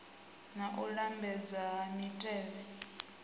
na u lambedzwa ha mitevhe